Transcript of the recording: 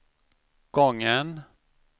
gången